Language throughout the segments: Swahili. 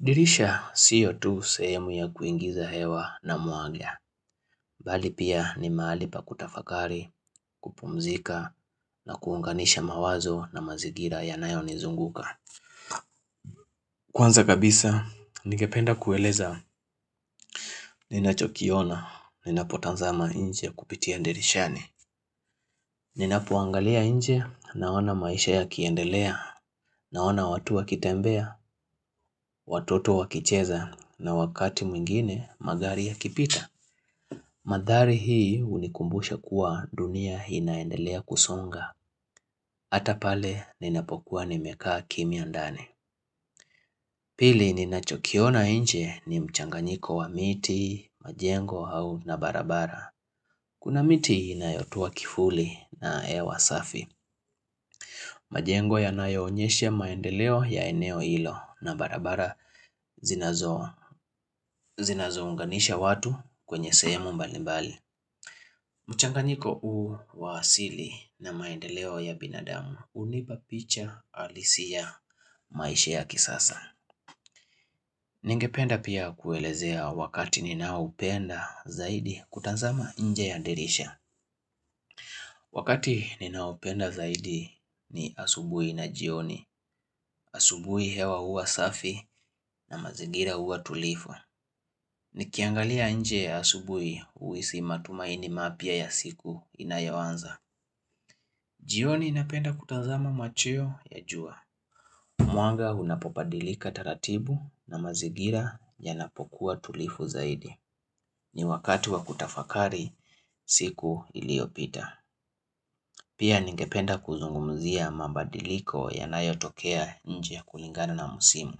Dirisha sio tu sehemu ya kuingiza hewa na mwanga, bali pia ni mahali pa kutafakari, kupumzika, na kuunganisha mawazo na mazigira yanayo nizunguka. Kwanza kabisa, ningependa kueleza, ninachokiona, ninapotazama nje kupitia dirishani. Ninapoangalia nje, naona maisha yakiendelea, naona watu wakitembea, watoto wakicheza, na wakati mwingine magari yakipita. Madhari hii hunikumbusha kuwa dunia inaendelea kusonga, ata pale ninapokuwa nimekaa kimya ndani. Pili ninachokiona nje ni mchanganyiko wa miti, majengo au na barabara. Kuna miti inayotoa kivuli na hewa safi. Majengo yanayoonyesha maendeleo ya eneo hilo na barabara zinazo zinazounganisha watu kwenye sehemu mbalimbali. Mchanganyiko huu wa asili na maendeleo ya binadamu hunipa picha halisi ya maisha ya kisasa. Ningependa pia kuelezea wakati ninaoupenda zaidi kutazama nje ya dirisha. Wakati ninaoupenda zaidi ni asubuhi na jioni, asubuhi hewa hua safi na mazingira hua tulivu. Nikiangalia nje asubuhi huhisi matumaini mapya ya siku inayoanza. Jioni napenda kutazama macheo ya jua. Mwanga unapobadilika taratibu na mazingira yanapokuwa tulivu zaidi. Ni wakati wa kutafakari siku iliyopita. Pia ningependa kuzungumzia mabadiliko yanayo tokea nje ya kulingana na musimu.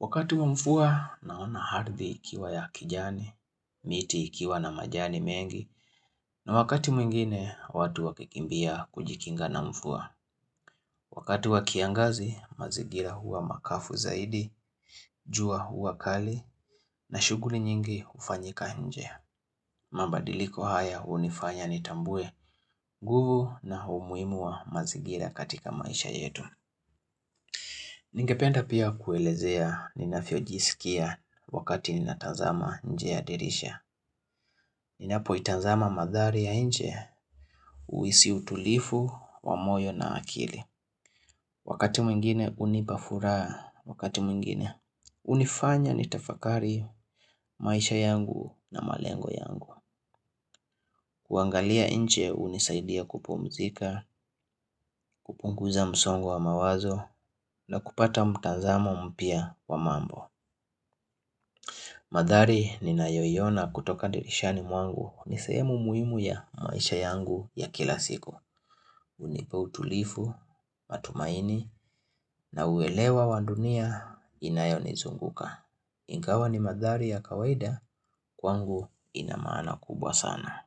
Wakati wa mvua naona ardhi ikiwa ya kijani, miti ikiwa na majani mengi, na wakati mwingine watu wakikimbia kujikinga na mvua. Wakati wa kiangazi, mazingira hua makavu zaidi, jua hua kali, na shughuli nyingi hufanyika nje. Mabadiliko haya hunifanya nitambue nguvu na umuhimu wa mazingira katika maisha yetu. Ningependa pia kuelezea ninavyojisikia wakati ninatazama nje ya dirisha. Ninapoitazama madhari ya nje, huhisi utulivu wa moyo na akili. Wakati mwingine hunipa furaha, wakati mwingine hunifanya nitafakari maisha yangu na malengo yangu kuangalia nje hunisaidia kupumzika, kupunguza msongo wa mawazo na kupata mtazamo mpya wa mambo Madhari ninayoiona kutoka dirishani mwangu ni sehemu muhimu ya maisha yangu ya kila siku hunipa utulivu, matumaini na uelewa wa dunia inayonizunguka Ingawa ni madhari ya kawaida kwangu ina maana kubwa sana.